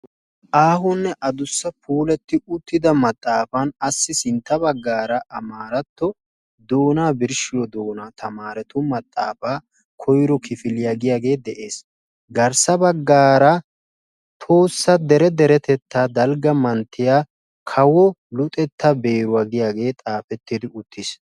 Aahonne adussa puulati uttida maxaafan issi sintta bagaara doonaa birshshiyo tamaarettu maxaafaa koyro kifiliya giyaagee des. garssa bagaara tohossa dere deretettaa dalgga manttiya kawo luxxetta beeruwa yaagiyaagee xaafetti uttiis.